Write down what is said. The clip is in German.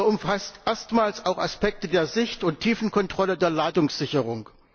Dieser umfasst erstmals auch Aspekte der Sicht und Tiefenkontrolle der Ladungssicherung.